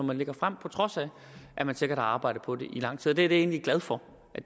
man lægger frem på trods af at man sikkert har arbejdet på det i lang tid og det er jeg da egentlig glad for